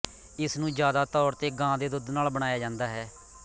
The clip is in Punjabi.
ਇਸਨੂੰ ਜਿਆਦਾ ਤੌਰ ਤੇ ਗਾਂ ਦੇ ਦੁੱਧ ਨਾਲ ਬਣਾਇਆ ਜਾਂਦਾ ਹੈ